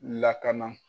Lakana